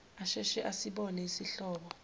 asheshe asibone isihlobo